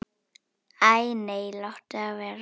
Æ nei, láttu það vera.